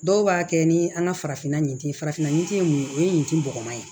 Dɔw b'a kɛ ni an ka farafinna ye farafin ye mun ye o ye tin bɔgɔ ye